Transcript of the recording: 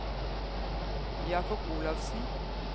Jakob Olafsen